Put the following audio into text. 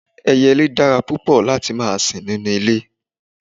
Ẹyẹlẹ dára púpọ̀ lati má sin nínu ilẹ̀.